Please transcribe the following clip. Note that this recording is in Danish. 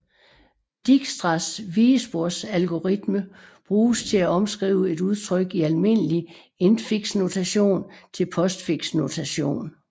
Dijkstras vigesporsalgoritme bruges til at omskrive et udtryk i almindelig infixnotation til postfixnotation